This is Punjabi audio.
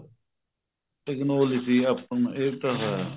technology ਸੀ ਆਪਣੇ ਇਹ ਤਾ ਹੈ